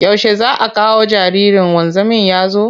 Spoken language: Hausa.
Yaushe za a kawo jaririn wanzamin ya zo?